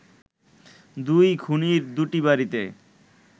দুই খুনির দুটি বাড়িতে